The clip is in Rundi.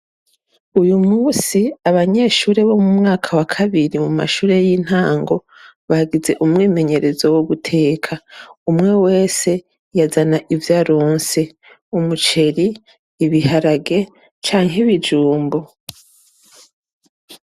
Uyu munsi, abanyeshure bo mu mwaka wa kabiri mu mashure y'intango bagize umwimenyerezo wo guteka. Umwe wese yazana ivyo aronse: umuceri, ibiharage, canke ibijumbu.